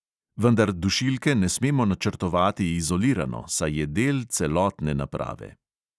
Vendar dušilke ne smemo načrtovati izolirano, saj je del celotne naprave.